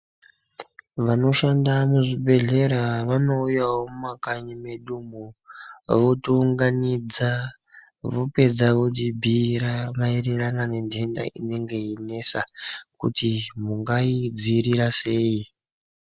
Vanodhanda muzvibhedhlera vanouyawo mumakanyi mwedumo votiunganidza vopedza votibhiira maererano nentenda inge heineaa kuti mungai dzivirira sei.